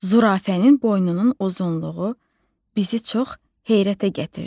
Zürafənin boynunun uzunluğu bizi çox heyrətə gətirdi.